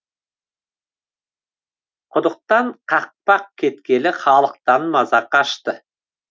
құдықтан қақпақ кеткелі халықтан маза қашты